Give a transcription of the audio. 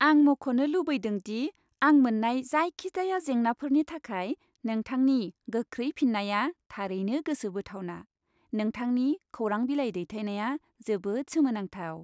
आं मख'नो लुबैदों दि आं मोन्नाय जायखिजाया जेंनाफोरनि थाखाय नोंथांनि गोख्रै फिननाया थारैनो गोसो बोथावना। नोंथांनि खौरां बिलाइ दैथायनाया जोबोद सोमोनांथाव।